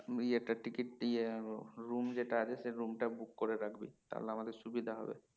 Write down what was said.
ইয়েটা ticket ইয়ে room যেটা আছে সে room টা book করে রাখবি তাহলে আমাদের সুবিধা হবে